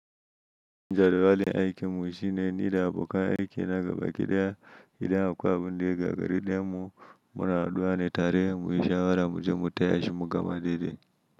Wajen wajeb aiki mu shi ne ni da abokan aiki na gaba kediya idan akwai wani rigar gari da mu muna addu'a ne tare mu yi shawara mu je mu taya shi mugama daidai.